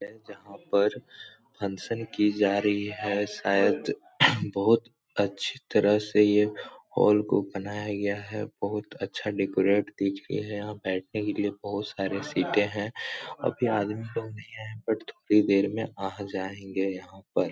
है जहाँ पर फंक्शन की जा रही है। शायद बहुत अच्छी तरह से यह हॉल को बनाया गया है। बहुत अच्छा डेकोरेट दिख रही है। यहाँ पर बैठने के लिए बहुत सारी सीटें हैं। अभी आदमी लोग नहीं आये हैं बट थोड़ी देर मे आ जायेंगे यहाँ पर।